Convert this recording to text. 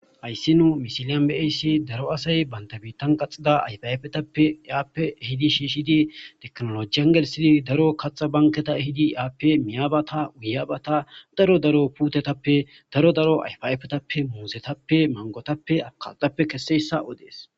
hayssi nuu misiliyan beayssi daro asay baynda biittan qaxida ayfaafetappe aappe hidi shishidi teknolojiyangelsidi daro kaxa banketa hidi aappe miyabata uyabata daro daro putetappe daro daro ayfaafetappe muusetappe mangotappe akaaxappe kesseyssa odees